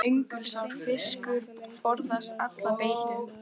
Öngulsár fiskur forðast alla beitu.